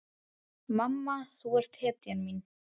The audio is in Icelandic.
Mamma þú ert hetjan mín.